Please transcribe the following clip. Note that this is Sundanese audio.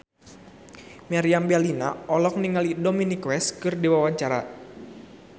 Meriam Bellina olohok ningali Dominic West keur diwawancara